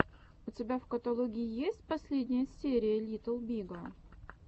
у тебя в каталоге есть последняя серия литтл бига